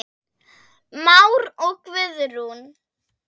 Már og Guðrún.